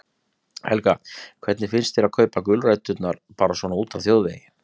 Helga: Hvernig finnst þér að kaupa gulræturnar bara svona úti á þjóðvegi?